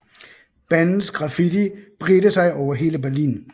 Bandens graffiti bredte sig over hele Berlin